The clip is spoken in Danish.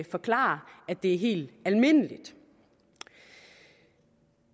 forklare at det er helt almindeligt det